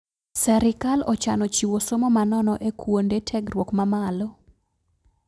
Serikal ochano chiwo somo manono e kuonde tegruok mamalo